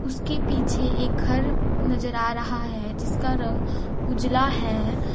उसके पीछे एक घर नजर आ रहा है जिसका रंग उजाला है।